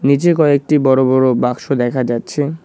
নীচে কয়েকটি বড় বড় বাক্স দেখা যাচ্ছে।